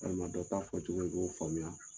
t'a fɔcogo i y'o faamuya.